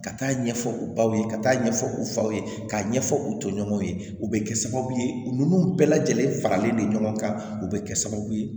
Ka taa ɲɛfɔ u baw ye ka taa ɲɛfɔ u faw ye k'a ɲɛfɔ u toɲɔgɔnw ye u bɛ kɛ sababu ye ninnu bɛɛ lajɛlen faralen de ɲɔgɔn kan u bɛ kɛ sababu ye